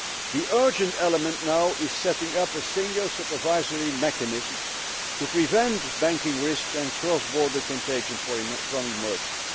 The urgent element now is setting up a single supervisory mechanism to prevent banking risks and cross border contagion from emerging.